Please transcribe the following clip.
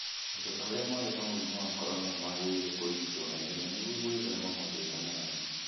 Andũ arĩa marĩ na mũrimũ wa corona nĩmagĩrĩirwo nĩ kũrigitwo na ihenya nĩguo gwĩthema mathĩna mangĩ